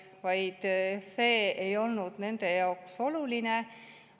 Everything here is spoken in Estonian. See ei olnud nende jaoks oluline.